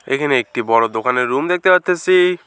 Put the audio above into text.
এখানে একটি বড় দোকানের রুম দেখতে পারতেসি।